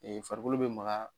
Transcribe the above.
farikolo be maga